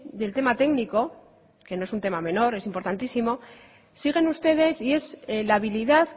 del tema técnico que no es un tema menor es importantísimo siguen ustedes y es la habilidad